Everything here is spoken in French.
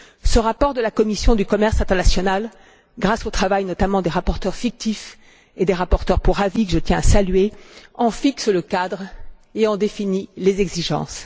Ce rapport de la commission du commerce international, grâce au travail notamment des rapporteurs fictifs et des rapporteurs pour avis que je tiens à saluer, en fixe le cadre et en définit les exigences.